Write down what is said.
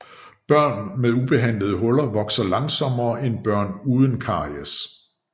Børn med ubehandlede huller vokser langsommere end børn uden caries